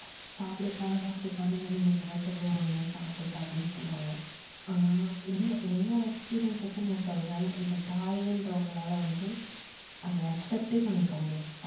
சாப்பிடுப்பா, சாப்பிடுப்பானு இரண்டு, மூன்று தடவ சொல்லுவாங்க சாப்பிடு சாப்பிடுன்னு சொல்லுவாங்க. ஆனா என்னோட experience வச்சு நான் சொல்றேன் இந்த தாயின்றவங்களால வந்து அத accept யே பண்ணிக்க முடியாது